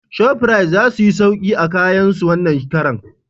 Shofrit za suyi sauki a kayan su wannan karan